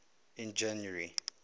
in january